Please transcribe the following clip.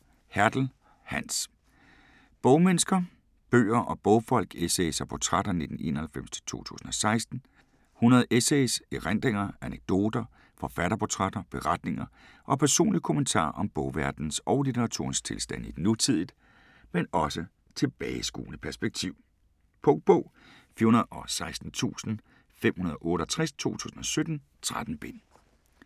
Hertel, Hans: Bogmennesker: bøger og bogfolk: essays og portrætter 1991-2016 100 essays, erindringer, anekdoter, forfatterportrætter, beretninger og personlige kommentarer om bogverdenens og litteraturens tilstand i et nutidigt, men også tilbageskuende perspektiv. Punktbog 416568 2017. 13 bind.